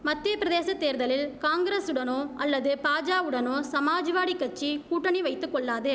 மத்தியபிரதேசத் தேர்தலில் காங்ரசுடனோ அல்லது பாஜாவுடனோ சமாஜ்வாடி கட்சி கூட்டணி வைத்து கொள்ளாது